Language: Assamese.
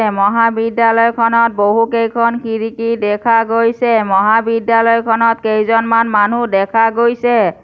মহাবিদ্যালয়খনত বহুকেইখন খিৰিকী দেখা গৈছে । মহাবিদ্যালয়খনত কেইজনমান মানুহ দেখা গৈছে।